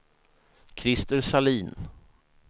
Christer Sahlin